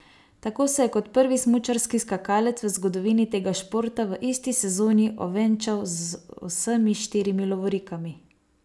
Tako se je kot prvi smučarski skakalec v zgodovini tega športa v isti sezoni ovenčal z vsemi štirimi lovorikami!